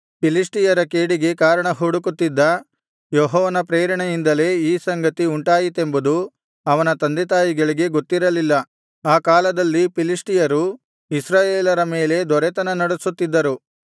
ಫಿಲಿಷ್ಟಿಯರ ಕೇಡಿಗೆ ಕಾರಣ ಹುಡುಕುತ್ತಿದ್ದ ಯೆಹೋವನ ಪ್ರೇರಣೆಯಿಂದಲೇ ಈ ಸಂಗತಿ ಉಂಟಾಯಿತೆಂಬುದು ಅವನ ತಂದೆತಾಯಿಗಳಿಗೆ ಗೊತ್ತಿರಲಿಲ್ಲ ಆ ಕಾಲದಲ್ಲಿ ಫಿಲಿಷ್ಟಿಯರು ಇಸ್ರಾಯೇಲರ ಮೇಲೆ ದೊರೆತನ ನಡೆಸುತ್ತಿದ್ದರು